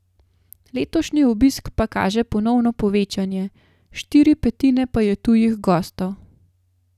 Letošnji obisk pa kaže ponovno povečanje, štiri petine pa je tujih gostov.